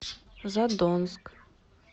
задонск